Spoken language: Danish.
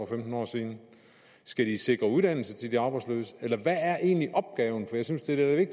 femten år siden skal de sikre uddannelse til arbejdsløse eller hvad er egentlig opgaven for jeg synes det er